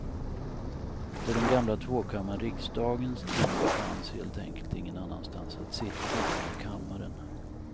På den gamla tvåkammarriksdagens tid fanns helt enkelt ingen annanstans att sitta än i kammaren.